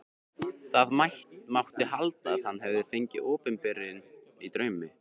Það mátti halda að hann hefði fengið opinberun í draumi.